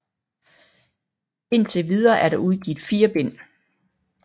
Indtil videre er der udgivet 4 bind